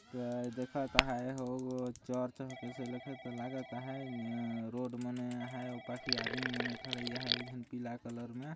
यह दिखाता है होगो चर्च कैसे लगत लागत से ए रोड मने है बाकी आदमी मने ठड़ाईया हैं एक झन पीला कलर में